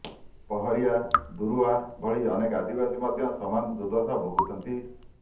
ପହରିଆ ଦୁରୁଆ ଭଳି ଅନେକ ଆଦିବାସୀ ମଧ୍ୟ ସମାନ ଦୁର୍ଦ୍ଦଶା ଭୋଗୁଛନ୍ତି